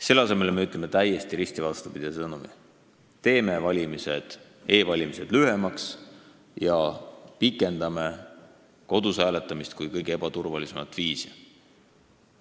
Selle asemel on meil täiesti risti vastupidine sõnum: teeme e-valimiste aja lühemaks ja pikendame kodus hääletamise kui kõige ebaturvalisema hääletusviisi aega.